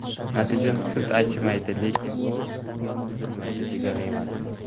Natijada sut achimaydi, lekin bu u buzilmaydi degani emas.